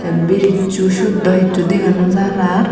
bricchu sot daw hissu dega naw jar ar.